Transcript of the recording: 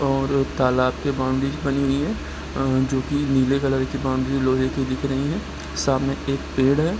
और तालाब की बाउंड्री बनी हुई है अ जो की नीले कलर की बाउंड्री लोहे की दिख रही है सामने एक पेड़ है ।